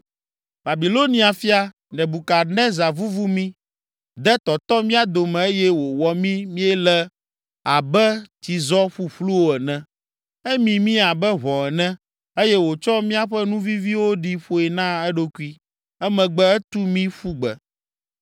“Babilonia fia, Nebukadnezar vuvu mí, de tɔtɔ mía dome eye wòwɔ mí míele abe tsizɔ ƒuƒluwo ene. Emi mí abe ʋɔ ene, eye wòtsɔ míaƒe nu viviwo ɖi ƒoe na eɖokui, emegbe etu mí ƒu gbe.